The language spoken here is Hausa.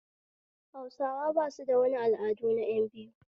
Hausawa basu da wani al'ada na ƴan biyu